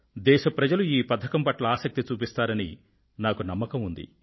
దేశ ప్రజలు ఈ పథకం పట్ల ఆసక్తి చూపిస్తారని నాకు నమ్మకం ఉంది